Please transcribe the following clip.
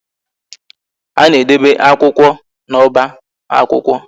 A na-edobe akwụkwọ na oba akwụkwọ